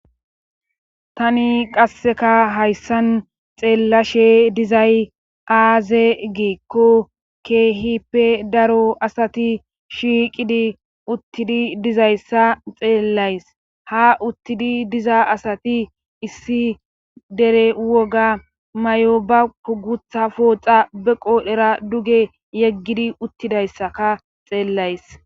Tani qasseka hayssan xeellashe dizay aaze giikko keehippe daro asati shiiqidi uttidi dizayssa xeellays ha uttidi diza asati issi dere woga may7o ba kugutha pooxa be qoolhera duge yeggidi uttidayssaka xeellays.